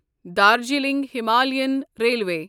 Darjeeling Himalayan railway